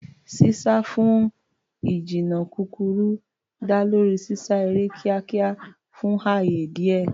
Sísá fún ìjìnnà kúkúrú dá lórí sísá eré kíákíá fún ààyè díẹ̀.